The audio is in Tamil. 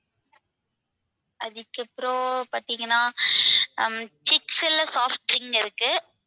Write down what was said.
அதுக்கபுறம் பாத்தீங்கன்னா ஹம் இருக்கு.